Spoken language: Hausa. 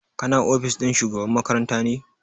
Ka na ofis ɗin shugaban makaranta ne?